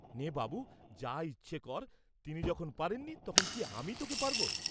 নে, বাবু, যা ইচ্ছা কর; তিনি যখন পারেন নি তখন কি আমি তোকে পারব?